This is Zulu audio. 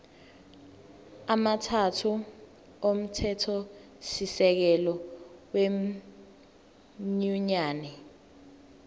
amathathu omthethosisekelo wenyunyane